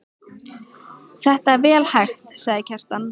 Þetta er vel hægt, sagði Kjartan.